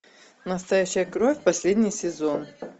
настоящая кровь последний сезон